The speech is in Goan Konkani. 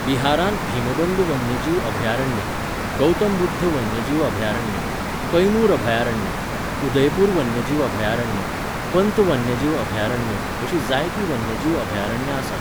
बिहारांत भीमबंध वन्यजीव अभयारण्य, गौतम बुध्द वन्यजीव अभयारण्य, कैमूर अभयारण्य, उदयपूर वन्यजीव अभयारण्य, पंत वन्यजीव अभयारण्य अशीं जायतीं वन्यजीव अभयारण्यां आसात.